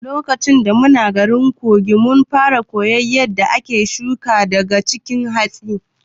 Lokaci da muna garin Kogi, mun fara koyar yadda ake shuga wasu daga cikin hatsi.